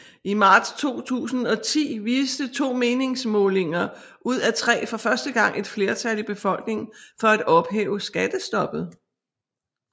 I marts 2010 viste to meningsmålinger ud af tre for første gang et flertal i befolkningen for at ophæve skattestoppet